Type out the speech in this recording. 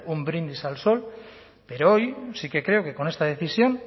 un brindis al sol pero hoy sí que creo que con esta decisión